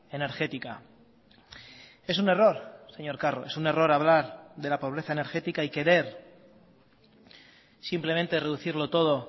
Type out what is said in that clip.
energética es un error señor carro es un error hablar de la pobreza energética y querer simplemente reducirlo todo